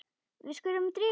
Við skulum drífa okkur.